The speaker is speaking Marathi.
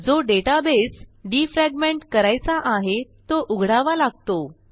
जो डेटाबेस डिफ्रॅगमेंट करायचा आहे तो उघडावा लागतो